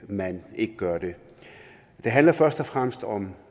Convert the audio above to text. man ikke gør det det handler først og fremmest om